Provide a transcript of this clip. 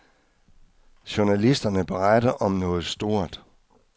Journalisterne beretter om noget stort.